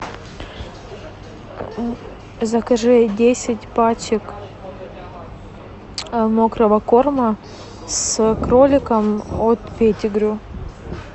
закажи десять пачек мокрого корма с кроликом от педигри